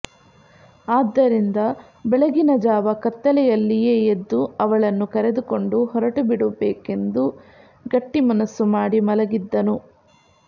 ಆದ್ದರಿಂದ ಬೆಳಗಿನ ಜಾವ ಕತ್ತಲೆಯಲ್ಲಿಯೆ ಎದ್ದು ಅವಳನ್ನೂ ಕರೆದುಕೊಂಡು ಹೊರಟುಬಿಡಬೇಕೆಂದು ಗಟ್ಟಿಮನಸ್ಸು ಮಾಡಿ ಮಲಗಿದ್ದನು